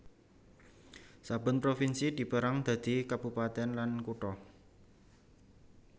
Saben provinsi dipérang dadi kabupatèn lan kutha